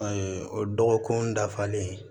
o dɔgɔkun dafalen